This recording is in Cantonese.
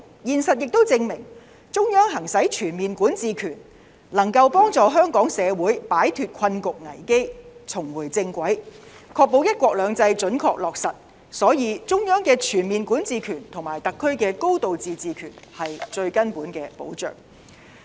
現實亦證明中央行使全面管治權能夠幫助香港社會擺脫困局危機，重回正軌，確保"一國兩制"準確落實，所以，中央的全面管治權和特區的"高度自治"權是最根本的保障。